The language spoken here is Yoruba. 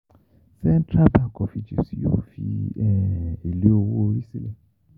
Central Bank of Egypt yóò fi um èlé owó orí sílẹ̀